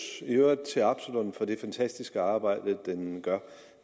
til absalon for det fantastiske arbejde de gør og